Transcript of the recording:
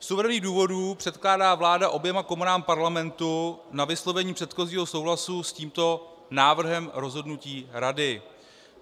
Z uvedených důvodů předkládá vláda oběma komorám Parlamentu k vyslovení předchozího souhlasu s tímto návrhem rozhodnutí Rady.